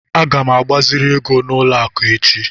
Aga m agbaziri ego n'ụlọ akụ echi.